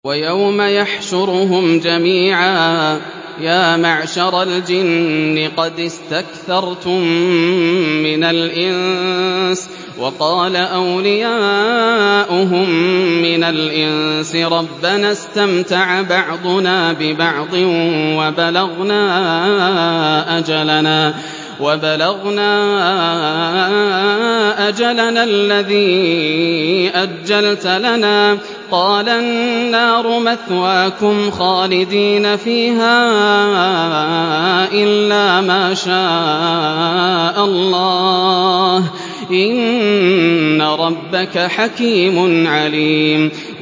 وَيَوْمَ يَحْشُرُهُمْ جَمِيعًا يَا مَعْشَرَ الْجِنِّ قَدِ اسْتَكْثَرْتُم مِّنَ الْإِنسِ ۖ وَقَالَ أَوْلِيَاؤُهُم مِّنَ الْإِنسِ رَبَّنَا اسْتَمْتَعَ بَعْضُنَا بِبَعْضٍ وَبَلَغْنَا أَجَلَنَا الَّذِي أَجَّلْتَ لَنَا ۚ قَالَ النَّارُ مَثْوَاكُمْ خَالِدِينَ فِيهَا إِلَّا مَا شَاءَ اللَّهُ ۗ إِنَّ رَبَّكَ حَكِيمٌ عَلِيمٌ